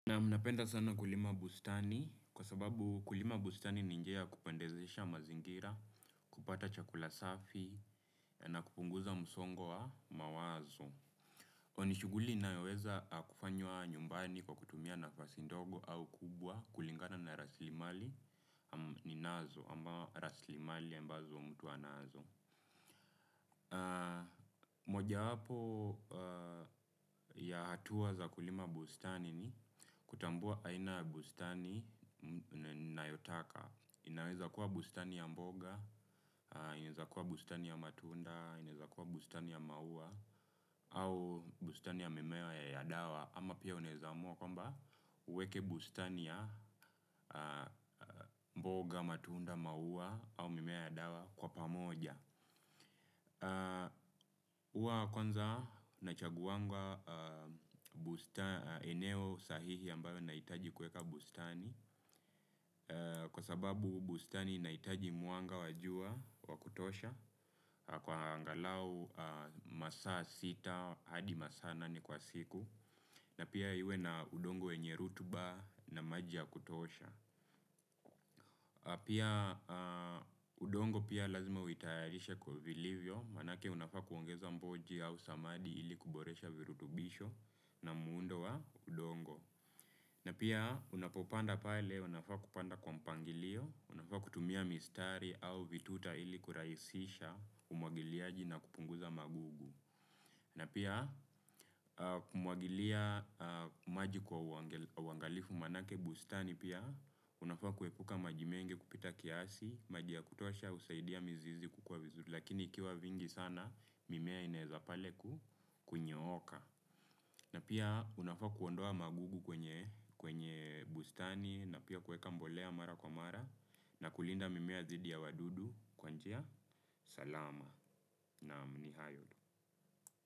Naam, napenda sana kulima bustani kwa sababu kulima bustani ni njia ya kupendezesha mazingira, kupata chakula safi, na kupunguza msongo wa mawazo. Hiyo ni shughuli inayoweza kufanywa nyumbani kwa kutumia nafasi ndogo au kubwa kulingana na rasilimali ninazo, ambao rasilimali ambazo mtu anazo. Mojawapo ya hatua za kulima bustani ni kutambua aina ya bustani ninayotaka, inaweza kuwa bustani ya mboga, inaweza kuwa bustani ya matunda, inaweza kuwa bustani ya maua au bustani ya mimea ya dawa ama pia unaeza amua kwamba uweke bustani ya mboga, matunda, maua au mimea ya dawa kwa pamoja. Huwa kwanza nachaguanga eneo sahihi ambayo nahitaji kuweka bustani, kwa sababu bustani inahitaji mwanga wa jua wa kutosha kwa angalau masaa sita hadi masaa nane kwa siku. Na pia iwe na udongo yenye rotuba na maji ya kutosha. Pia, udongo pia lazima uitayarishe kwa vilivyo maanake unafaa kuongeza mboji au samadi ili kuboresha virutubisho na muundo wa udongo. Na pia unapopanda pale unafaa kupanda kwa mpangilio, unafaa kutumia mistari au vituta ili kurahisisha umwagiliaji na kupunguza magugu. Na pia, kumwagilia maji kwa uangalifu maanake bustani pia unafaa kuepuka maji mengi kupita kiasi, maji ya kutosha husaidia mizizi kukua vizuri lakini ikiwa vingi sana, mimea inaeza pale kunyooka. Na pia unafaa kuondoa magugu kwenye kwenye bustani na pia kuweka mbolea mara kwa mara na kulinda mimea dhidi ya wadudu kwa njia salama. Naam, ni hayo tu.